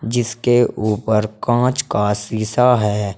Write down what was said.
जिसके ऊपर कांच का शीशा है।